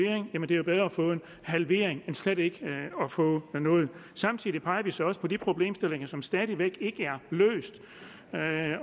det er bedre at få en halvering end slet ikke at få noget samtidig peger vi så også på de problemstillinger som stadig væk ikke er løst